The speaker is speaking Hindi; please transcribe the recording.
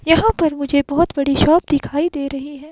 यहां पर मुझे बहोत बड़ी शॉप दिखाई दे रही हैं।